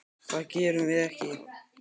Það gerum við ekki.